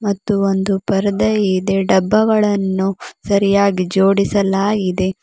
ಮತ್ತು ಒಂದು ಪರ್ದೆ ಇದೆ ಡಬ್ಬಗಳನ್ನು ಸರಿಯಾಗಿ ಜೋಡಿಸಲಾಗಿದೆ.